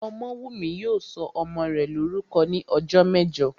Ọmọ́wùnmí yóò sọ ọmọ rẹ̀ lórúkọ ní ọjọ́ mẹ́jọ